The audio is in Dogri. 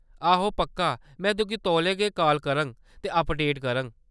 आहो, पक्का, में तुगी तौले गै काल करङ ते अपडेट करङ।